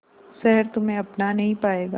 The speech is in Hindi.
शहर तुम्हे अपना नहीं पाएगा